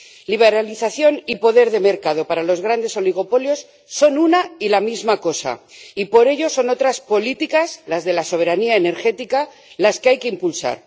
Liberalización y poder de mercado para los grandes oligopolios son una y la misma cosa, y, por ello, son otras políticas, las de la soberanía energética, las que hay que impulsar.